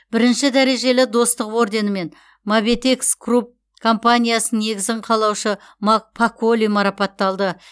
брінші дәрежелі достық орденімен мабетекс групп компаниясының негізін қалаушы мак паколли марапатталды